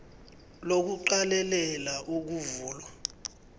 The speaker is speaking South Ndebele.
lo kuqalelela ukuvulwa